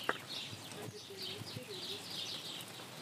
покажи первую серию люкс фм